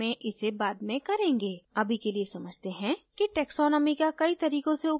अभी के लिए समझते हैं कि taxonomy का कई तरीकों से उपयोग किया जा सकता है